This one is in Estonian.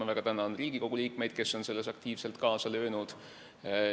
Ma väga tänan Riigikogu liikmeid, kes on selles aktiivselt kaasa löönud.